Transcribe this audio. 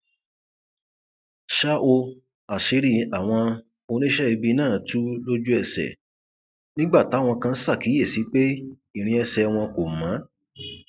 ṣá ò àṣírí àwọn oníṣẹ ibi náà tu lójúẹsẹ nígbà táwọn kan ṣàkíyèsí pé irin ẹsẹ wọn kò mọ